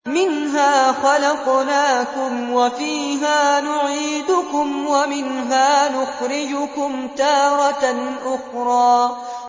۞ مِنْهَا خَلَقْنَاكُمْ وَفِيهَا نُعِيدُكُمْ وَمِنْهَا نُخْرِجُكُمْ تَارَةً أُخْرَىٰ